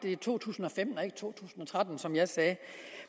i to tusind og tretten som jeg sagde